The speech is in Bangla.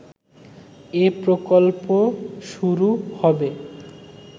এ প্রকল্প শুরু হবে